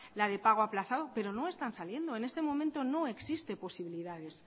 la de pago aplazado pero no están saliendo en este momento no existen posibilidades